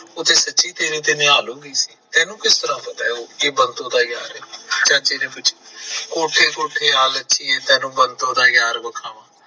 ਉਹ ਤਾਂ ਸੱਚੀ ਤੇਰੇ ਤੇ ਨਿਹਾਲ ਹੋ ਗਈ ਸੀ ਤੈਨੂੰ ਕਿਸ ਤਰ੍ਹਾਂ ਪਤਾ ਐ ਚਾਚੇ ਨੇ ਪੁੱਛਿਆ ਕੋਠੇ ਕੋਠੇ ਆ ਲੱਗੀਏ ਤੈਨੂੰ ਬੰਤੋ ਦਾ ਯਾਰ ਵਖਾਵਾ